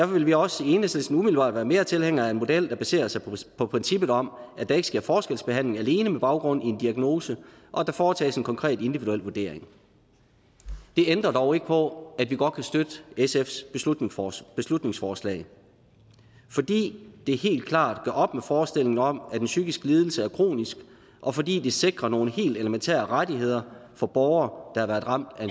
vil vi også i enhedslisten umiddelbart være større tilhængere af en model der baserer sig på princippet om at der ikke sker forskelsbehandling alene med baggrund i en diagnose og at der foretages en konkret individuel vurdering det ændrer dog ikke på at vi godt kan støtte sfs beslutningsforslag beslutningsforslag fordi det helt klart gør op med forestillingen om at en psykisk lidelse er kronisk og fordi det sikrer nogle helt elementære rettigheder for borgere der har været ramt af